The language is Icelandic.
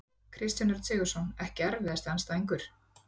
Kristján Örn Sigurðsson Ekki erfiðasti andstæðingur?